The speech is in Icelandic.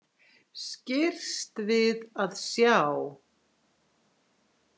Skirrst við að sjá.